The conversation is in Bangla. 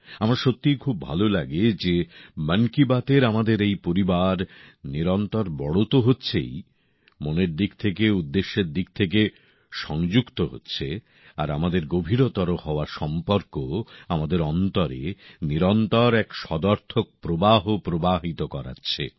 আমার সত্যিই খুব ভালো লাগে যে মন কি বাতএর আমাদের এই পরিবার নিরন্তর বড় তো হচ্ছেই মনের দিক থেকে উদ্দেশ্যের দিক থেকেও সংযুক্ত হচ্ছে আর আমাদের হওয়া গভীরতর সম্পর্ক আমাদের অন্তরে নিরন্তর এক সদর্থক প্রবাহ প্রবাহিত করাচ্ছে